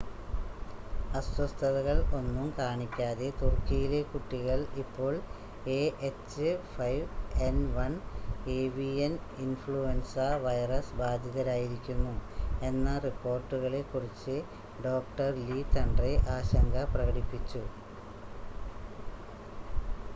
അസ്വസ്ഥതകൾ ഒന്നും കാണിക്കാതെ തുർക്കിയിലെ കുട്ടികൾ ഇപ്പോൾ എഎച്ച്5എൻ1 ഏവിയൻ ഇൻഫ്ലുൻസ വൈറസ് ബാധിതരായിരിക്കുന്നു എന്ന റിപ്പോർട്ടുകളെ കുറിച്ച് ഡോക്ടർ ലീ തന്റെ ആശങ്ക പ്രകടിപ്പിച്ചു